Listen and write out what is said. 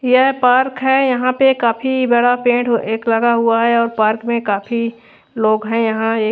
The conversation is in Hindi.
यह पार्क है यहां पे काफी बड़ा पेड़ एक लगा हुआ है और पार्क में काफी लोग हैं यहां ये--